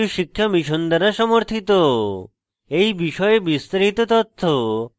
এই বিষয়ে বিস্তারিত তথ্য এই link প্রাপ্তিসাধ্য